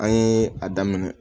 An ye a daminɛ